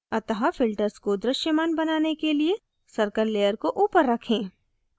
अतः filters को दृश्यमान बनाने के लिए circle layer को ऊपर रखें